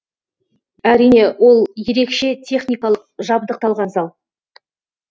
әрине ол ерекше техникалық жабдықталған зал